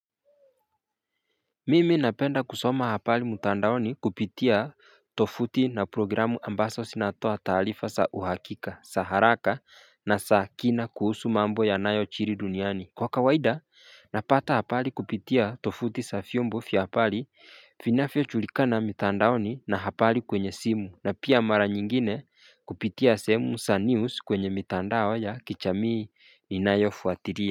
Mimi napenda kusoma hapali mutandaoni kupitia tofuti na programu ambaswa sinatoa taalifa sa uhakika sa haraka na sa kina kuhusu mambo ya nayo chiri duniani Kwa kawaida napata hapali kupitia tofuti sa fiumbo fia hapali finafio chulika na mitandaoni na hapali kwenye simu na pia mara nyingine kupitia semu sa news kwenye mitandao ya kichamii ni nayo fuatiria.